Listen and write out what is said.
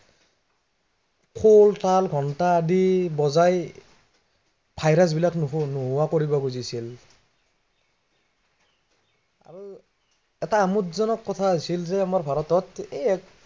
খোল, তাল ঘন্টা আদি বজাই, virus বিলাক নোহোৱা, নোহোৱা কৰিব খুজিছিল আৰু এটা আমোদজনক কথা হৈছিল যে আমাৰ ভাৰতত এৰ